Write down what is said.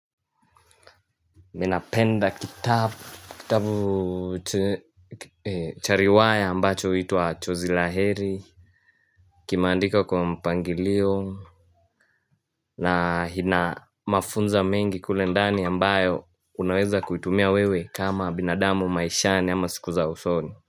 Ninapenda kitab kitabu che chariwaya ambacho uitwa chozilaheri Kimaandika kwa mpangilio na hina mafunza mengi kulendani ambayo Unaweza kuitumia wewe kama binadamu maishani ama sikuza usoni.